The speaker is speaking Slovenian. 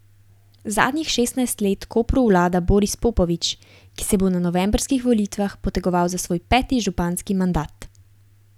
Zadnjih šestnajst let Kopru vlada Boris Popovič, ki se bo na novembrskih volitvah potegoval za svoj peti županski mandat.